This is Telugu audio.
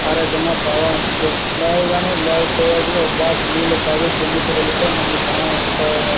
ఆరోగ్యాంగా బాగా ఉంటది. లేవగానే ఒక గ్లాస్ నీళ్లు తాగి జిమ్ కి వెళితే మనకి చాలా ఉపయోగాలు.